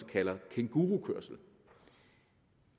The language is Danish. kalder kængurukørsel